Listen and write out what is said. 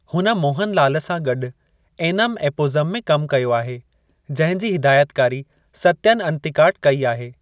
हुन मोहन लाल सां गॾु एनम एपोज़म में कमु कयो आहे जंहिं जी हिदायतकारी सत्यन अंतिकाट कई आहे।